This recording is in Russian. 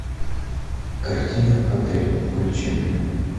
картина отель включи мне